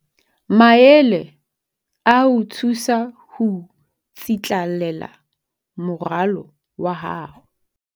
Maele a ho o thusa ho tsitlallela moralo wa hao